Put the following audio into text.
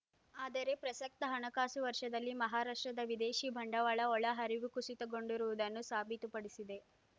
ಆದರೆ ಪ್ರಸಕ್ತ ಹಣಕಾಸು ವರ್ಷದಲ್ಲಿ ಮಹಾರಾಷ್ಟ್ರದ ವಿದೇಶಿ ಬಂಡವಾಳ ಒಳ ಹರಿವು ಕುಸಿತಗೊಂಡಿರುವುದನ್ನು ಸಾಬೀತುಪಡಿಸಿದೆ